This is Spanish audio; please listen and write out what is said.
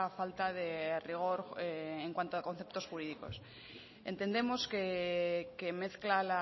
falta de rigor en cuanto a conceptos jurídicos entendemos que mezcla